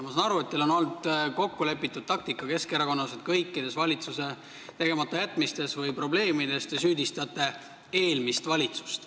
Ma saan aru, et teil on Keskerakonnas kokkulepitud taktika, et kõikides valitsuse tegematajätmistes või probleemides te süüdistate eelmist valitsust.